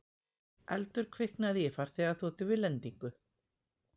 Eldur kviknaði í farþegaþotu við lendingu